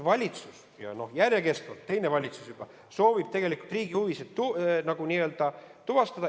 Valitsus, ja järjekestvalt teine valitsus juba soovib tegelikult riigi huvisid n-ö tuvastada.